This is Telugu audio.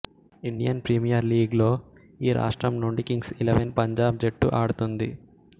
ఇండియన్ ప్రీమియర్ లీగ్లో ఈ రాష్ట్రం నుంచి కింగ్స్ ఎలెవన్ పంజాబ్ జట్టు ఆడుతుంది